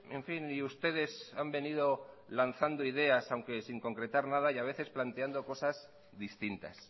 en fin y ustedes han venido lanzando ideas aunque sin concretar nada y a veces planteando cosas distintas